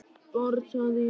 Barn, sagði hún.